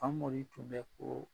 Pamori tun bɛ foo